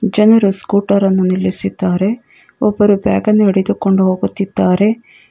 ಜನರ ಸ್ಕೂಟರನ್ನು ನಿಲ್ಲಿಸಿದ್ದಾರೆ ಒಬ್ಬರು ಬ್ಯಾಗನ್ನು ಹೊಡೆದುಕೊಂಡು ಹೋಗುತ್ತಿದ್ದಾರೆ.